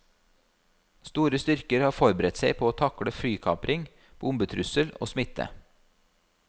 Store styrker har forberedt seg på å takle flykapring, bombetrussel og smitte.